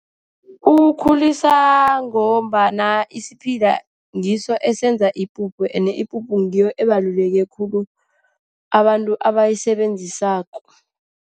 Uwukhulisa ngombana isiphila ngiso esenza ipuphu. Ende ipuphu ngiyo ebaluleke khulu, abantu abayisebenzisako.